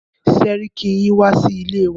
Sẹ́ríkí yín wá sí ilé wa.